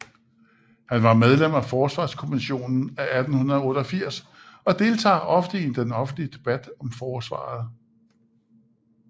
Han var medlem af Forsvarskommissionen af 1988 og deltager ofte i den offentlige debat om Forsvaret